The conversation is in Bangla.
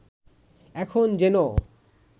এখন যেন